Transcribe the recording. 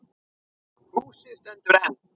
Húsið stendur enn.